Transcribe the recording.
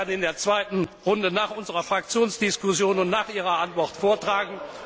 Das werde ich dann in der zweiten Runde nach unserer Fraktionsdiskussion und nach Ihrer Antwort vortragen.